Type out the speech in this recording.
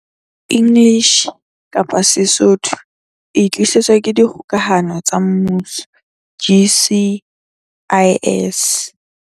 English - Sesotho O e tlisetswa ke Dikgokahano tsa Mmuso, GCIS.